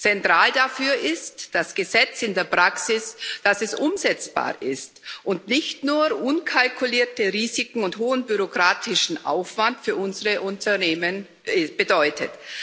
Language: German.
Zentral dafür ist das Gesetz in der Praxis, dass es umsetzbar ist und nicht nur unkalkulierte Risiken und hohen bürokratischen Aufwand für unsere Unternehmen bedeutet.